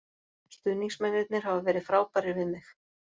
Stuðningsmennirnir hafa verið frábærir við mig.